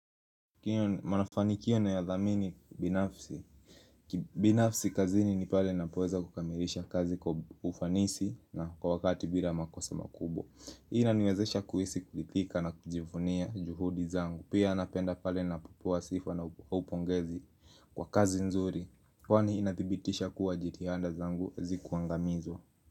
Kiyo manafanikio naya dhamini binafsi kibinafsi kazini ni pale ninapoeza kukamirisha kazi kwa ufanisi na kwa wakati bila makosa makubwa ina niwezesha kuhisi kuridhika na kujivunia juhudi zangu Pia napenda pale napopewa sifa na au upongezi kwa kazi nzuri Kwa ni inathibitisha kuwa jitahanda zangu hazikuangamizwa.